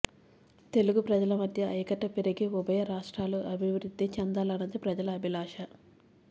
తెలుగు ప్రజల మధ్య ఐక్యత పెరిగి ఉభయ రాష్ట్రాలూ అభివృద్ధి చెందాలన్నది ప్రజల అభిలాష